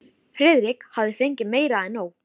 Friðrik hafði fengið meira en nóg.